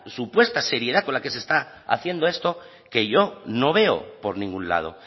supuesta seriedad con la que se está haciendo esto que yo no veo por ningún lado